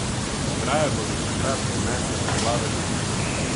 Ograje bodo takrat odnesle poplave ljudi.